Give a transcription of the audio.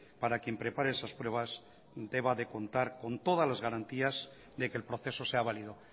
para quien prepare esas pruebas deba de contar con todas las garantías de que el proceso sea válido